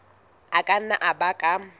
a ka nna a baka